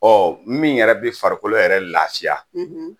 Ɔ min yɛrɛ bɛ farikolo yɛrɛ lafiya